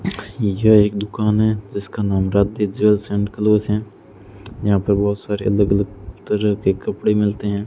यह एक दुकान है जिसका नाम राधे ज्वैल्स एंड क्लोज है यहां पे बहुत सारे अलग अलग तरह के कपड़े मिलते हैं।